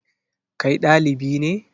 Kai ɗalibi ne?